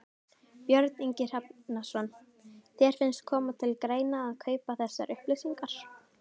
Björn Ingi Hrafnsson: Þér finnst koma til greina að kaupa þessar upplýsingar?